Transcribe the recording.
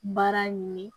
Baara ɲini